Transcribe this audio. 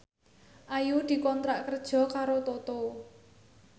Ayu dikontrak kerja karo Toto